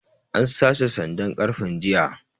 An sace sandan ƙarfen jiya